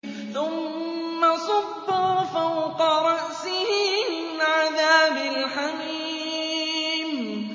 ثُمَّ صُبُّوا فَوْقَ رَأْسِهِ مِنْ عَذَابِ الْحَمِيمِ